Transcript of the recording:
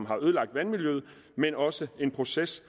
har ødelagt vandmiljøet men også en proces